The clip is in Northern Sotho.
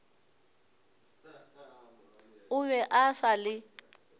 o be a sa le